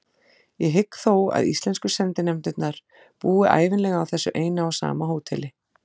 Ég hygg þó að íslensku sendinefndirnar búi ævinlega á þessu eina og sama hóteli.